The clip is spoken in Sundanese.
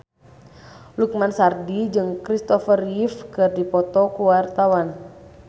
Lukman Sardi jeung Kristopher Reeve keur dipoto ku wartawan